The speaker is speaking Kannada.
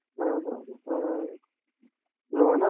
ಹಾ ಹಾ ಆ loan ಆದ್ರೆ.